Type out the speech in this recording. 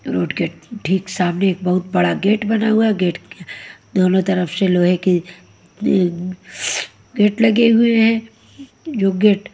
road के ठीक सामने एक बहुत बड़ा गेट बना हुआ है गेट दोनों तरफ शे लोहे के गेट लगे हुए हैं जो गेट --